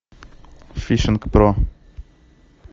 фишинг про